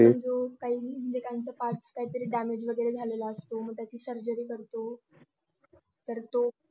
काहीतरी part damage वगैरे झालं मग त्याचे surgery करतो तर तो